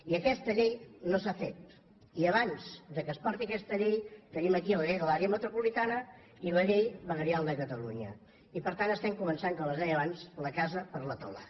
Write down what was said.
i aquesta llei no s’ha fet i abans que es porti aquesta llei tenim aquí la llei de l’àrea metropolitana i la llei veguerial de catalunya i per tant estem començant com es deia abans la casa per la teulada